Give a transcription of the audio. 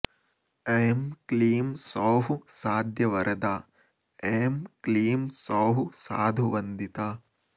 ऐं क्लीं सौः साध्यवरदा ऐं क्लीं सौः साधुवन्दिता